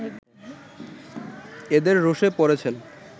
এদের রোষে পড়েছেন